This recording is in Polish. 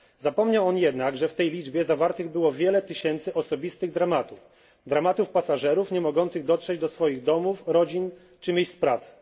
Zapomniał on jednak, że w tej liczbie zawartych było wiele tysięcy osobistych dramatów pasażerów nie mogących dotrzeć do swoich domów, rodzin czy miejsc pracy.